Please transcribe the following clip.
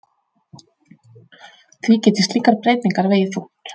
Því geti slíkar breytingar vegið þungt